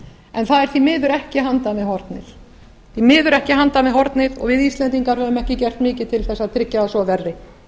en hún er því miður ekki handan við hornið við íslendingar höfum ekki gert mikið til þess að tryggja að svo verði